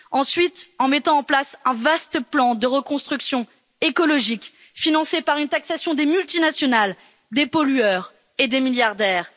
Ensuite, en mettant en place un vaste plan de reconstruction écologique, financé par une taxation des multinationales, des pollueurs et des milliardaires.